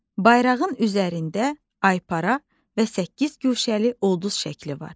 Bayrağın üzərində aypara və səkkiz guşəli ulduz şəkli var.